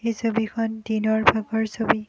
ছবিখন দিনৰ ভাগৰ ছবি।